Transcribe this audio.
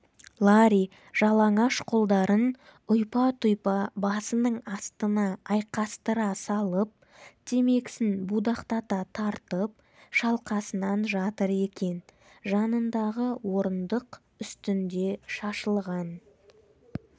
ларри жалаңаш қолдарын ұйпа-тұйпа басының астына айқастыра салып темекісін будақтата тартып шалқасынан жатыр екен жанындағы орындық үстінде шашылған